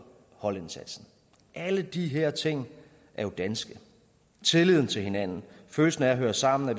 holdindsatsen alle de her ting er jo danske tilliden til hinanden følelsen af at høre sammen og